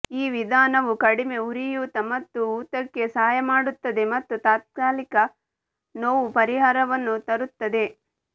ಈ ವಿಧಾನವು ಕಡಿಮೆ ಉರಿಯೂತ ಮತ್ತು ಊತಕ್ಕೆ ಸಹಾಯ ಮಾಡುತ್ತದೆ ಮತ್ತು ತಾತ್ಕಾಲಿಕ ನೋವು ಪರಿಹಾರವನ್ನು ತರುತ್ತದೆ